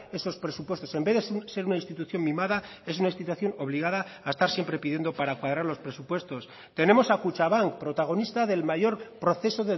esos presupuestos en vez de ser una institución mimada es una institución obligada a estar siempre pidiendo para parar los presupuestos tenemos a kutxabank protagonista del mayor proceso